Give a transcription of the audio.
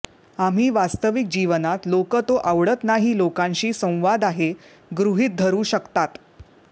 आम्ही वास्तविक जीवनात लोक तो आवडत नाही लोकांशी संवाद आहे गृहित धरू शकतात